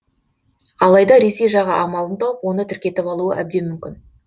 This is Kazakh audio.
алайда ресей жағы амалын тауып оны тіркетіп алуы әбден мүмкін